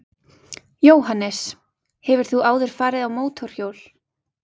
Jóhannes: Hefur þú áður farið á mótorhjól?